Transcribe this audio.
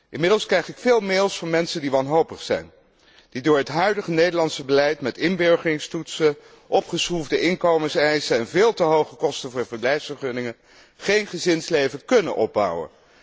Inmiddels krijg ik veel mails van mensen die wanhopig zijn, die door het huidige Nederlandse beleid met inburgeringstoetsen, opgeschroefde inkomenseisen en veel te hoge kosten voor verblijfsvergunningen, geen gezinsleven kunnen opbouwen.